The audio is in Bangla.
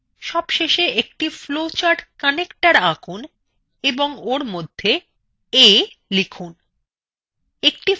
সবশেষে একটি flowchartconnector আঁকুন এবং ওর মধ্যে a লিখুন